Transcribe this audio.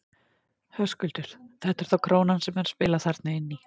Höskuldur: Þetta er þá krónan sem er að spila þarna inn í?